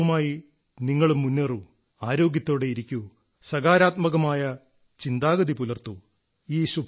ഈ വിശ്വാസവുമായി നിങ്ങളും മുന്നേറൂ ആരോഗ്യത്തോടെ ഇരിക്കൂ സകാരാത്മകമായ ചിന്താഗതി പുലർത്തൂ